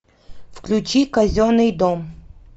включи казенный дом